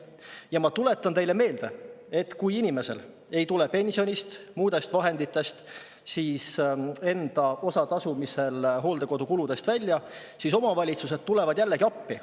Ja ma tuletan teile meelde, et kui inimesel ei tule pensionist või muudest vahenditest välja hooldekodukuludest enda osa tasumiseks, siis omavalitsused tulevad jällegi appi.